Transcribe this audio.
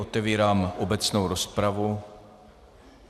Otevírám obecnou rozpravu.